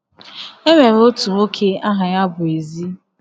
E nwere otu nwoke aha ya bụ Ezi.